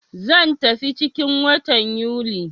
Zan tafi ciki 'n watan Yuli.